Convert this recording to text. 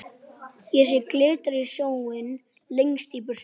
Þóra Kristín: Í hvað stefnir þetta mál Árni Páll?